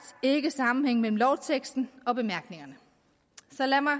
ikke sammenhæng mellem lovteksten og bemærkningerne så lad mig